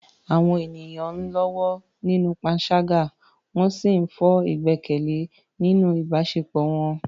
Àwọn ènìyàn ń lọ́wọ́ nínú panṣágà, wọ́n ń fọ́ ìgbẹ́kẹ̀lé nínú ìbáṣepọ̀ wọn.